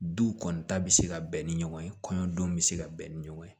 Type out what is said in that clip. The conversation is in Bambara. Du kɔni ta bi se ka bɛn ni ɲɔgɔn ye kɔɲɔ don bɛ se ka bɛn ni ɲɔgɔn ye